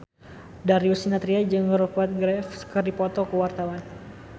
Darius Sinathrya jeung Rupert Graves keur dipoto ku wartawan